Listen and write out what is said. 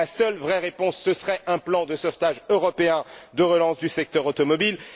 Or, la seule vraie réponse, ce serait un plan de sauvetage européen de relance du secteur automobile.